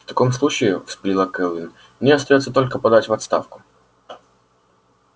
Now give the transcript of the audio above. в таком случае вспылила кэлвин мне остаётся только подать в отставку